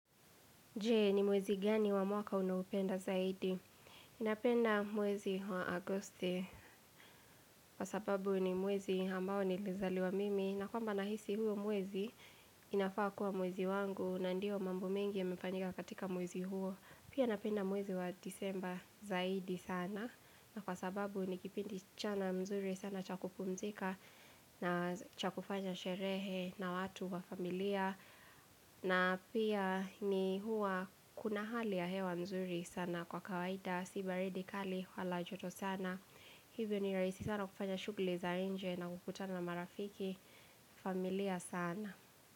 Je, ni mwezi gani wa mwaka unaupenda zaidi? Napenda mwezi wa agosti kwa sababu ni mwezi ambao ni lizali wa mimi na kwamba nahisi huo mwezi inafaa kuwa mwezi wangu na ndio mambo mengi ya mefanyika katika mwezi huo. Pia napenda mwezi wa disemba zaidi sana na kwa sababu nikipindi chana mzuri sana chakupumzika na chakufanya sherehe na watu wa familia na pia ni huwa kuna hali ya hewa nzuri sana kwa kawaida Sibaridi kali walajoto sana Hivyo ni raisi sana kufanya shughuli za nje na kukutana na marafiki familia sana.